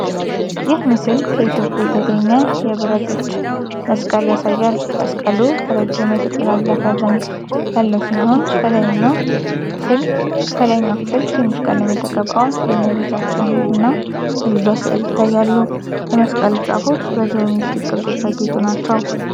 ይህ ምስል ከ ኢትዮጵያ የተገኘ የብረት እጅ መስቀል ያሳያል። መስቀሉ ረጅም የተጠላለፈ ዘንግ ያለው ሲሆን፣ ከላይኛው ክፍል ትንሽ ቀለም የተቀባ የእመቤታችን እና የልጇ ስዕል ይታያል። የመስቀሉ ጫፎች በጂኦሜትሪክ ቅርጾች ያጌጡ ናቸው።